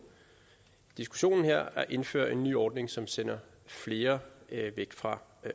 diskussionen her at indføre en ny ordning som sender flere væk fra